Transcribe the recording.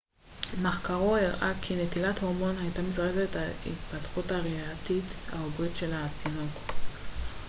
מחקרו הראה כי נטילת הורמון הייתה מזרזת את ההתפתחות הריאתית העוברית של התינוק